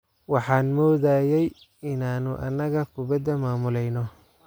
Waxaan moodayay inaanu anagu kubadda maamulayno.